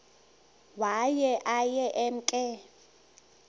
waye aye emke